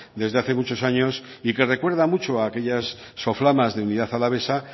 desde hace muchos años y que recuerda mucho a aquellas soflamas de unidad alavesa